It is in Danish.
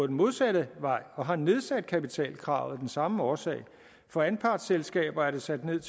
den modsatte vej og har nedsat kapitalkravet af den samme årsag for anpartsselskaber er det sat ned